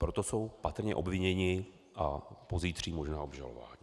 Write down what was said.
Proto jsou patrně obviněni a pozítří možná obžalovaní.